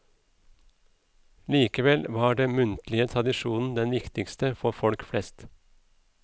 Likevel var den muntlige tradisjonen den viktigste for folk flest.